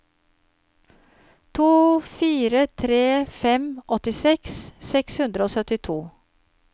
to fire tre fem åttiseks seks hundre og syttito